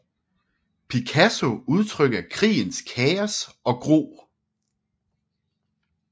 Picasso udtrykker krigens kaos og gru